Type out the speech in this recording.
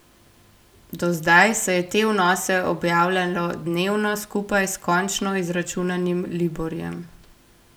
Do zdaj se je te vnose objavljalo dnevno skupaj s končno izračunanim liborjem.